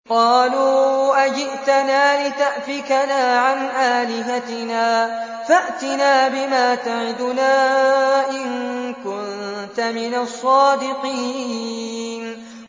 قَالُوا أَجِئْتَنَا لِتَأْفِكَنَا عَنْ آلِهَتِنَا فَأْتِنَا بِمَا تَعِدُنَا إِن كُنتَ مِنَ الصَّادِقِينَ